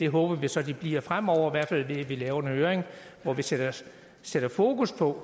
håber vi så de bliver fremover i hvert fald vil vi lave en høring hvor vi sætter sætter fokus på